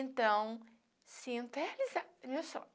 Então, sinto a realizado o meu sonho.